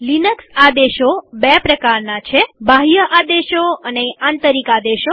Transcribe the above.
Linux આદેશો બે પ્રકારના છે બાહ્ય આદેશો અને આંતરિક આદેશો